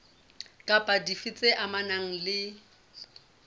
kapa dife tse amanang le